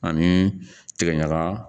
Ani tigɛ ɲaga